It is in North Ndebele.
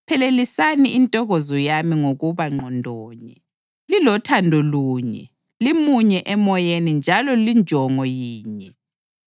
phelelisani intokozo yami ngokuba ngqondo nye, lilothando lunye, limunye emoyeni njalo linjongo yinye.